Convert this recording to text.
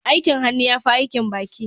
Aikin hannu ya fi aikin baki